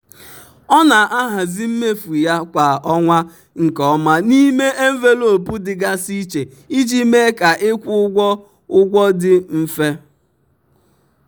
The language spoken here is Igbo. ọ na-ahazi mmefu ya kwa ọnwa nke ọma n'ime envelopu dịgasị iche iji mee ka ịkwụ ụgwọ ụgwọ dị mfe.